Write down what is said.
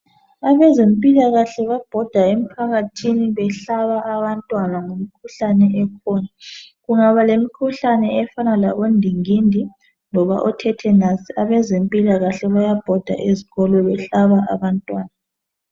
Abezempilakahle babhoda emphakathini behlaba abantwana ngemikhuhlane ekhona, kungaba lemikhuhlane efana labondingindi loba othethenasi abezempilakahle bayabhoda ezikolo behlaba abantwana